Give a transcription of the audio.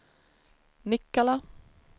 Nikkala